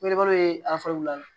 Me balo ye wulada